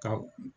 Ka